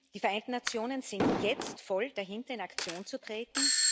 Die Vereinten Nationen sind jetzt voll dahinter, in Aktion zu treten.